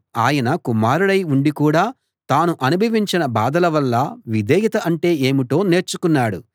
ఆయన కుమారుడై ఉండి కూడా తాను అనుభవించిన బాధల వల్ల విధేయత అంటే ఏమిటో నేర్చుకున్నాడు